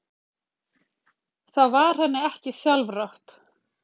Þá var henni ekki sjálfrátt.